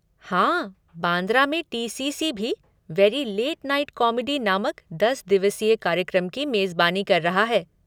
हाँ, बांद्रा में टी.सी.सी. भी 'वेरी लेट नाइट कॉमेडी' नामक दस दिवसीय कार्यक्रम की मेज़बानी कर रहा है।